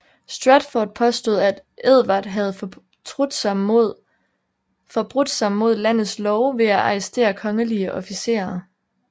Stratford påstod at Edvard havde forbrudt sig mod landets love ved at arrestere kongelige officerer